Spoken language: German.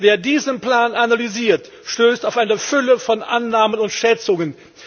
Wer diesen Plan analysiert, stößt auf eine Fülle von Annahmen und Schätzungen.